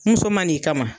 Muso ma n'i kama